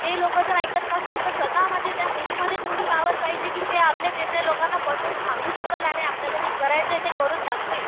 ते लोकं जर ऐकत नसेल तर स्वतः मध्ये त्या मुलींमध्ये तेवढी पॉवर पाहिजे कि ती आपले निर्णय लोकांना पटवून सांगू शकेल. आणि आपल्याला जे करायचं ते करून दाखवेल.